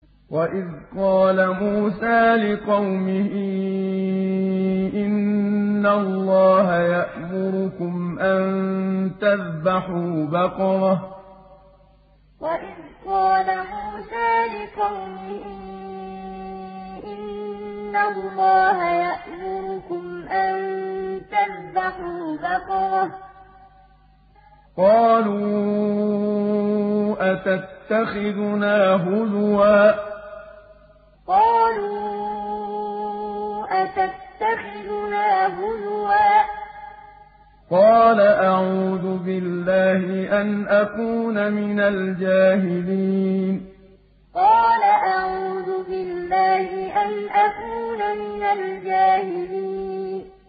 وَإِذْ قَالَ مُوسَىٰ لِقَوْمِهِ إِنَّ اللَّهَ يَأْمُرُكُمْ أَن تَذْبَحُوا بَقَرَةً ۖ قَالُوا أَتَتَّخِذُنَا هُزُوًا ۖ قَالَ أَعُوذُ بِاللَّهِ أَنْ أَكُونَ مِنَ الْجَاهِلِينَ وَإِذْ قَالَ مُوسَىٰ لِقَوْمِهِ إِنَّ اللَّهَ يَأْمُرُكُمْ أَن تَذْبَحُوا بَقَرَةً ۖ قَالُوا أَتَتَّخِذُنَا هُزُوًا ۖ قَالَ أَعُوذُ بِاللَّهِ أَنْ أَكُونَ مِنَ الْجَاهِلِينَ